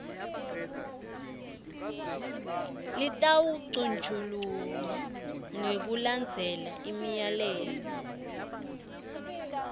lutawucutjungulwa ngekulandzela imiyalelo